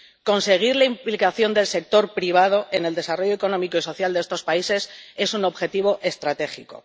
Conseguir la implicación del sector privado en el desarrollo económico y social de estos países es un objetivo estratégico.